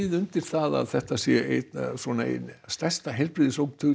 undir það að þetta sé stærsta